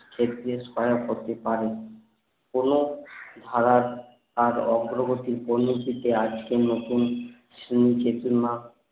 করার করতে পারে কোনো ভাড়া তার অগ্রগতি আজকের নতুন